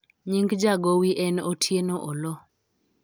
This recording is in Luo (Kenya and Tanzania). nying jagowi en Otieno Oloo